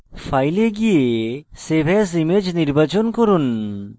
file এ go save as image নির্বাচন করুন